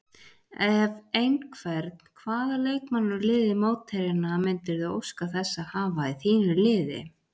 Ef einhvern, hvaða leikmann úr liði mótherjanna myndirðu óska þess að hafa í þínu liði?